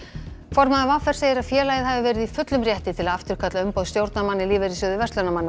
formaður v r segir að félagið hafi verið í fullum rétti til að afturkalla umboð stjórnarmanna í Lífeyrissjóði